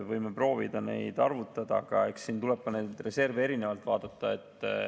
Võime proovida arvutada, aga siin tuleb neid reserve ka erinevalt vaadata.